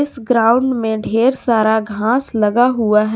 Ground में ढेर सारा घास लगा हुआ है।